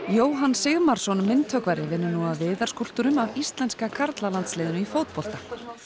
Jóhann Sigmarsson myndhöggvari vinnur nú að viðarskúlptúrum af íslenska karlalandsliðinu í fótbolta